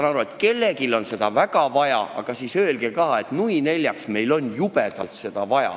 Ma saan aru, et kellelegi on seda väga vaja, aga öelgu nad siis välja, et neil on seda jubedalt, nui neljaks, vaja.